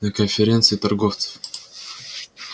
на конференции торговцев